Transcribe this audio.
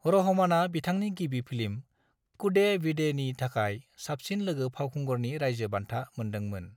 रहमाना बिथांनि गिबि फिल्म 'कूडेविडे'नि थाखाय साबसिन लोगो फावखुंगुरनि रायजो बान्था मोनदोंमोन।